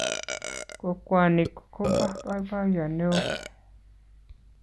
Kokwonik ko bo boiboiye ne oo.